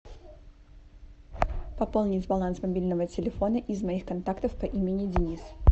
пополнить баланс мобильного телефона из моих контактов по имени денис